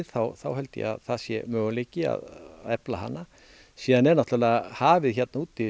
þá held ég að það sé möguleiki að efla hana síðan er náttúrulega hafið hér úti